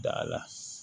Dala